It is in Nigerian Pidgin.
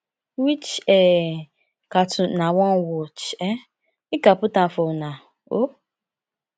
which um cartoon una wan watch um make i put am for una um